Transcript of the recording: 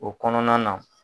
O kɔnɔna na.